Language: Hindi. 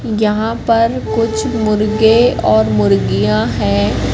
यहां पर कुछ मुर्गे और मुर्गियां हैं।